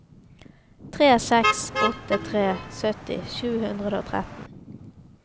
tre seks åtte tre sytti sju hundre og tretten